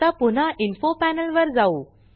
आता पुन्हा info panel वर जाऊ